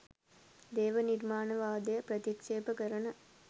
දේව නිර්මාණවාදය ප්‍රතික්ෂේප කරන